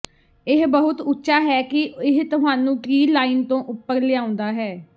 ਇਹ ਬਹੁਤ ਉੱਚਾ ਹੈ ਕਿ ਇਹ ਤੁਹਾਨੂੰ ਟ੍ਰੀ ਲਾਈਨ ਤੋਂ ਉਪਰ ਲਿਆਉਂਦਾ ਹੈ